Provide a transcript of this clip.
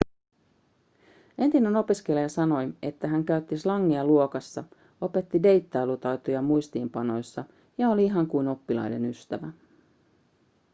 entinen opiskelija sanoi että hän käytti slangia luokassa opetti deittailutaitoja muistiinpanoissa ja oli ihan kuin oppilaiden ystävä